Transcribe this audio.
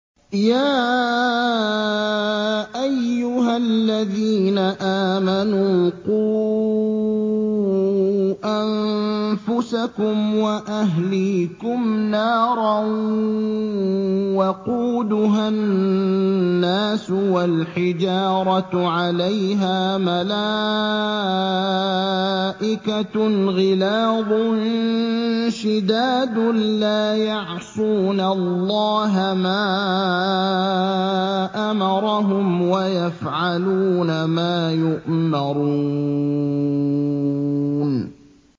يَا أَيُّهَا الَّذِينَ آمَنُوا قُوا أَنفُسَكُمْ وَأَهْلِيكُمْ نَارًا وَقُودُهَا النَّاسُ وَالْحِجَارَةُ عَلَيْهَا مَلَائِكَةٌ غِلَاظٌ شِدَادٌ لَّا يَعْصُونَ اللَّهَ مَا أَمَرَهُمْ وَيَفْعَلُونَ مَا يُؤْمَرُونَ